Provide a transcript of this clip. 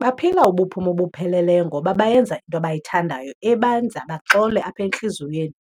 Baphila obupheleleyo ngoba bayenza into abayithandayo ebenza baxole apha entliziyweni.